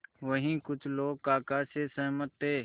वहीं कुछ लोग काका से सहमत थे